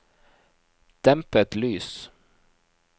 dempet lys